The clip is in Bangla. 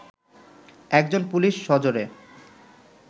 একজন পুলিশ সজোরে